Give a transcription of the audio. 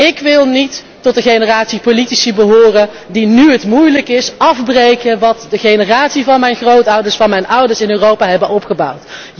Ik wil niet tot de generatie politici behoren die nu het moeilijk is, afbreken wat de generatie van mijn grootouders, van mijn ouders, in Europa hebben opgebouwd.